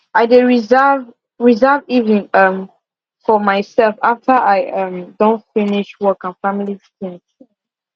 i dey reserve reserve evening um for myself after i um don finish work and family tings